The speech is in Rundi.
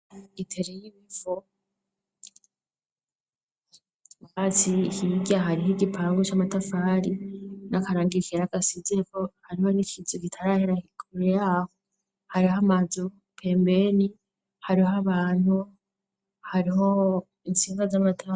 Itere y'ibivo wazi hirya hariho igipangu c'amatafari n'akarangikera agasizeko hariho n'ikizu gitarahera hikueraho hariho amazuru pembeni hariho abantu hariho intsinva z'amatama.